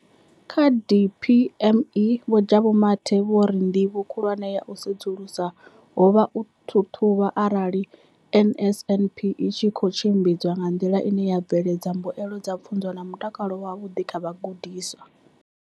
Kha DPME, Vho Jabu Mathe, vho ri ndivho khulwane ya u sedzulusa ho vha u ṱhaṱhuvha arali NSNP i tshi khou tshimbidzwa nga nḓila ine ya bveledza mbuelo dza pfunzo na mutakalo wavhuḓi kha vhagudiswa.